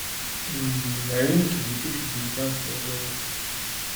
новинки две тысячи девятнадцатого года